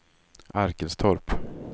Arkelstorp